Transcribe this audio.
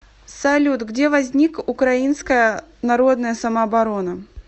салют где возник украинская народная самооборона